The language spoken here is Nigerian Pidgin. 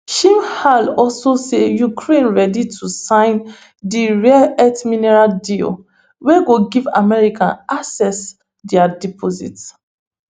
shmyhal also say ukraine ready to sign di rare earth mineral deal wey go give america access dia deposits